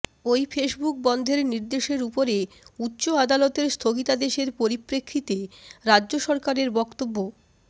ওই ফেসবুক বন্ধের নির্দেশের উপরে উচ্চ আদালতের স্থগিতাদেশের পরিপ্রেক্ষিতে রাজ্য সরকারের বক্তব্য